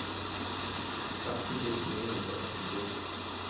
atten tusen ni hundre og førtito